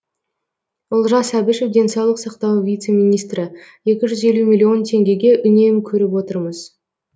олжас әбішев денсаулық сақтау вице министрі екі жүз елу миллион теңгеге үнем көріп отырмыз